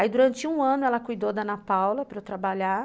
Aí durante um ano ela cuidou da Ana Paula para eu trabalhar.